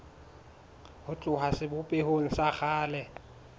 ho tloha sebopehong sa kgale